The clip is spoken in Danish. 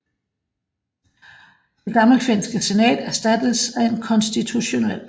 Det gammelfinske senat erstattedes af et konstitutionelt